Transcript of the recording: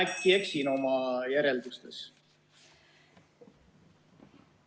Äkki ma eksin oma järeldustes?